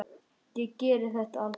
Ég geri þetta aldrei.